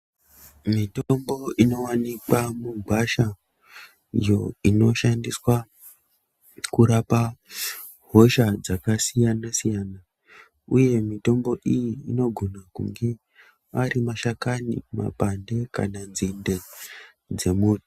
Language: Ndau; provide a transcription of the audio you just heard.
Mitombo inowanikwa mugwasha iyo inoshandiswa kurapa hosha dzakasiyana-siyana uye mitombo iyi inogona kunge ari mashakani, mapande kana nzinde dzemuti.